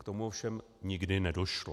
K tomu ovšem nikdy nedošlo.